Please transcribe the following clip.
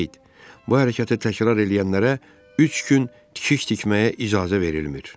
Qeyd, bu hərəkəti təkrar eləyənlərə üç gün tikiş tikməyə icazə verilmir.